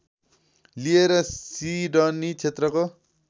लिएर सिडनी क्षेत्रको